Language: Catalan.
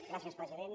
gràcies president